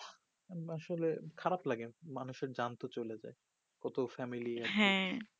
আসলে খারাপ লাগে মানুষের যান তো চলে যাই কত family হ্যা